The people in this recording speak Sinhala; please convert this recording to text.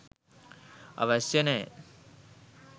අවශ්‍ය නෑ.